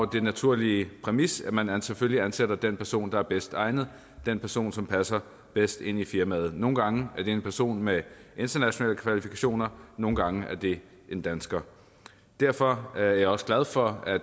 den naturlige præmis at man selvfølgelig ansætter den person der er bedst egnet den person som passer bedst ind i firmaet nogle gange er det en person med internationale kvalifikationer nogle gange er det en dansker derfor er jeg også glad for at